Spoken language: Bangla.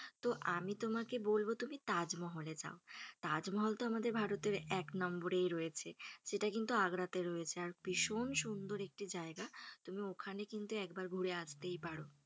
তো আমি তোমাকে বলবো তুমি তাজমহলে যাও। তাজমহল তো আমাদের ভারতের এক নম্বরেই রয়েছে। সেটা কিন্তু আগ্রাতে রয়েছে আর ভীষন সুন্দর একটি জায়গা। তুমি ওখানে কিন্তু একবার ঘুরে আসতেই পারো।